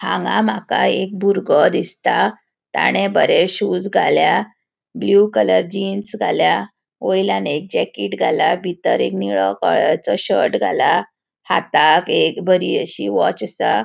हांगा माका एक भूरगो दिसता. ताने बरे शूज घाल्या ब्लू कलर जीन्स घाल्या वयल्या एक जैकिट घाला. बितर एक निळो कळरचो शर्ट घाला. हाताक एक बरी अशी वॉच असा.